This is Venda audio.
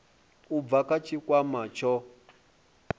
u bva kha tshikwama tsho